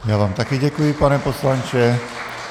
Já vám také děkuji, pane poslanče.